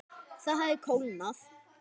Það hafði kólnað.